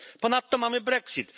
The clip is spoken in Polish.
Ponadto mamy brexit.